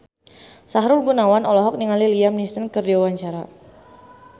Sahrul Gunawan olohok ningali Liam Neeson keur diwawancara